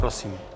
Prosím.